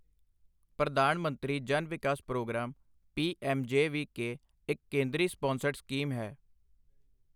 ਪ੍ਰਧਾਨ ਮੰਤਰੀ ਜਨ ਵਿਕਾਸ programme P M J V K ਇੱਕ ਕੇਂਦਰੀ ਸਪਾਂਸਰਡ ਸਕੀਮ ਹੈ।